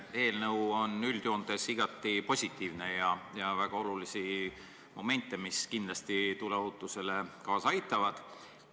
Eelnõu on üldjoontes igati positiivne, selles on väga olulisi momente, mis kindlasti tuleohutusele kaasa aitavad.